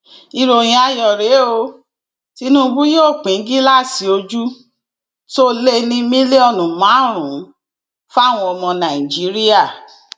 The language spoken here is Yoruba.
ìròyìn ayọ rèé o tìnùbù yóò pín gíláàsì ojú tó lé ní mílíọnù márùnún fáwọn ọmọ nàìjíríà